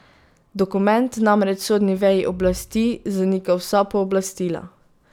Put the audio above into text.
Dokument namreč sodni veji oblasti zanika vsa pooblastila.